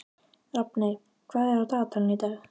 Rafney, hvað er á dagatalinu í dag?